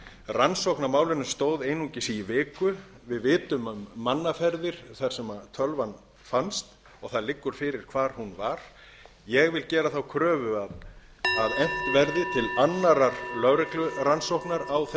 rannsókn á málinu stóð einungis í viku við vitum um mannaferðir þar sem tölvan fannst og það liggur fyrir hvar hún var ég geri þá kröfu að efnt verði til annarrar lögreglurannsóknar á þessu